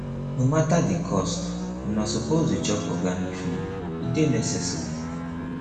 no mata di cost una suppose dey chop organic food e dey necessary